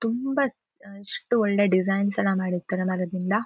ತುಂಬಾ ಅಹ್ ಎಷ್ಟು ಒಳ್ಳೇ ಡಿಸೈನ್ ಎಲ್ಲಾ ಮಾಡಿರತಾರೆ ಮರದಿಂದ.